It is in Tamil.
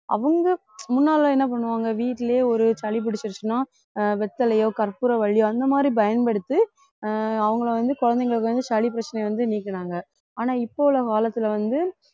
அவங்க முன்னாலே என்ன பண்ணுவாங்க வீட்டிலேயே ஒரு சளி பிடிச்சிருச்சின்னா ஆஹ் வெத்தலையோ கற்பூரவள்ளியோ அந்த மாதிரி பயன்படுத்தி ஆஹ் அவங்களை வந்து குழந்தைங்களுக்கு வந்து சளி பிரச்சனையை வந்து நீக்குனாங்க ஆனா இப்ப உள்ள காலத்துல வந்து